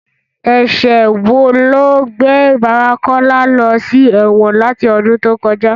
Ẹ̀ṣẹ̀ wo ló gbé bàbá Kọ́lá lọ sí ẹ̀wọ̀n láti ọdún tó kọjá?